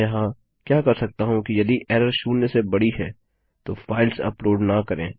मैं यहाँ क्या कर सकता हूँ कि यदि एरर शून्य से बड़ी है तो फाइल्स अपलोड न करें